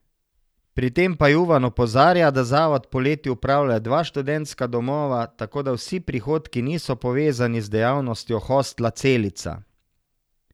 Pri tem pa Juvan opozarja, da zavod poleti upravlja dva študentska domova, tako da vsi prihodki niso povezani z dejavnostjo hostla Celica.